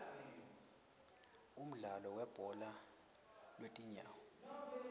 umdlalo webhola lwetinyawo